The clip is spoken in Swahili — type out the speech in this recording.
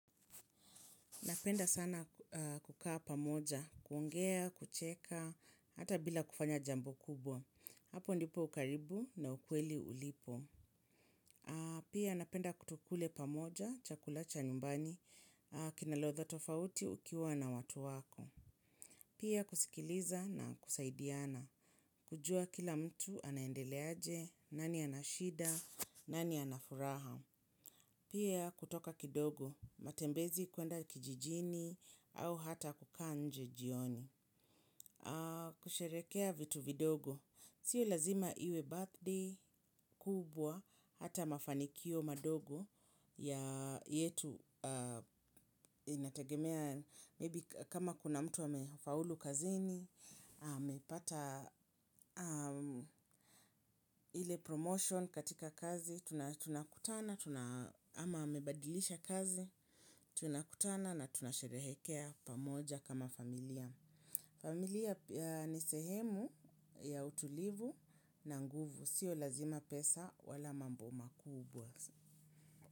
Napenda sana kukaa pamoja, kuongea, kucheka, hata bila kufanya jambo kubwa. Hapo ndipo ukaribu na ukweli ulipo. Pia napenda tukule pamoja chakula cha nyumbani kina ladha tofauti ukiwa na watu wako. Pia kusikiliza na kusaidiana. Kujua kila mtu anaendelea aje, nani ana shida, nani ana furaha. Pia kutoka kidogo, matembezi kwenda kijijini au hata kukaa nje jioni. Kusherehekea vitu vidogo. Si lazima iwe birthday kubwa hata mafanikio madogo ya yetu inategemea maybe kama kuna mtu amefaulu kazini, amepata ile promotion katika kazi, tunakutana, ama amebadilisha kazi. Tunakutana na tunasherehekea pamoja kama familia. Familia ni sehemu ya utulivu na nguvu. Siyo lazima pesa wala mambo makubwa.